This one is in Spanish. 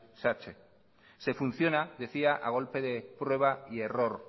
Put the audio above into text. satse se funciona decía a golpe de prueba y error